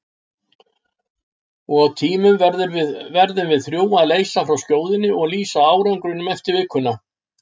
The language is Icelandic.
Og í tímunum verðum við þrjú að leysa frá skjóðunni og lýsa árangrinum eftir vikuna.